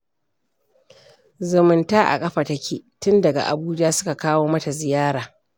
Zumunta a ƙafa take. tun daga Abuja suka kawo mata ziyara